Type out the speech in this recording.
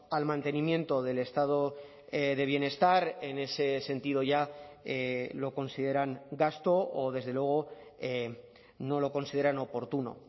al mantenimiento del estado de bienestar en ese sentido ya lo consideran gasto o desde luego no lo consideran oportuno